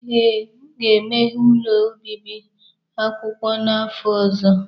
Ee, m ga-emeghe ụlọ obibi akwụkwọ n'afọ ọzọ.